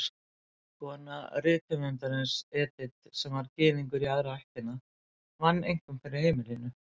Kona rithöfundarins, Edith, sem var Gyðingur í aðra ættina, vann einkum fyrir heimilinu.